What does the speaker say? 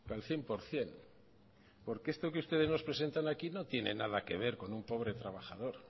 al cien por ciento porque esto que ustedes nos presentan aquí no tiene nada que ver con un pobre trabajador